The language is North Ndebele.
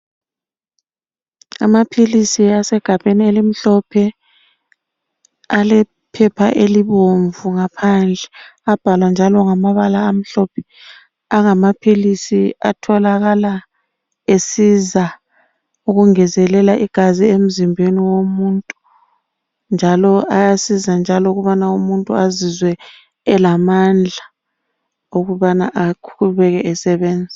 Amaphilisi asegabheni elimhlophe alephepha elibomvu ngaphandle abhalwa njalo ngamabala amhlophe. Angama philisi atholakala esiza ukungezelela igazi emzimbeni womuntu njalo ayasiza njalo ukubana umuntu azizwe elamandla okubana eqhubeke esebenza.